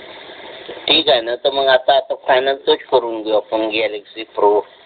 ठीक आहे ना तर मग आता फायनल तोच करून घेऊ सॅमसंग गॅलॅक्सय प्रो